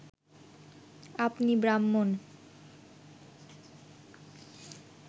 আপনি ব্রাহ্মণ